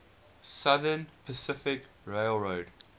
southern pacific railroad